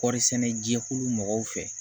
Kɔɔri sɛnɛ jɛkulu mɔgɔw fɛ